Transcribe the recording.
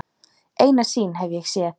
Eina sýn hef ég séð.